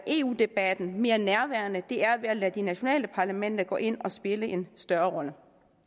eu debatten mere nærværende det er ved at lade de nationale parlamenter gå ind og spille en større rolle